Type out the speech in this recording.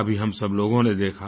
अभी हम सब लोगों ने देखा